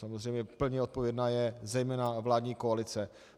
Samozřejmě plně odpovědná je zejména vládní koalice.